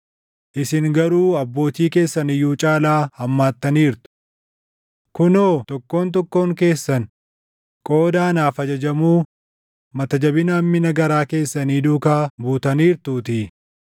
Isin garuu abbootii keessan iyyuu caalaa hammaattaniirtu. Kunoo tokkoon tokkoon keessan qooda anaaf ajajamuu mata jabina hammina garaa keessanii duukaa buutaniirtuutii.